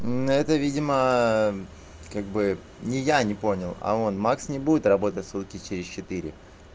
ну это видимо как бы и не я не понял а он макс не будет работать сутки через четыре